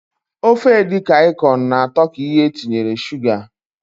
Ofe edikang ikong na atọ ka ihe etinyere Suga.